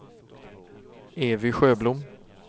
Evy Sjöblom